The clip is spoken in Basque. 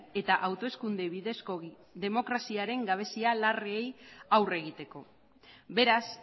eta hauteskunde bidezko demokraziaren gabezia larriei aurre egiteko beraz